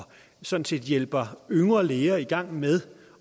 sådan set hjælper yngre læger i gang med